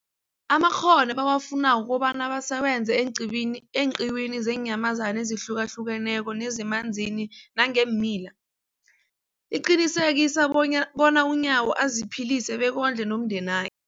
amakghono ebawafunako ukobana basebenze eenqiwini eenqiwini zeenyamazana ezihlukahlukeneko nezemanzini nangeemila, liqinisekisa bonya bona uNyawo aziphilise bekondle nomndena